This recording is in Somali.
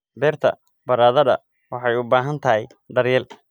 Beerta baradhada waxay u baahan tahay daryeel.